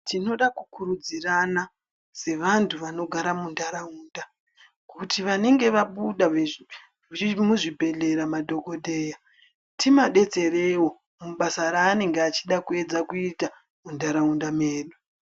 Tinoda kukurudzirana sevantu vanogara muntaraunda kuti vanenge vabuda muzvibhedhleya madhokodheya, timadetserewo mubasa raanenge achida kuedza kuita muntaraunda medu.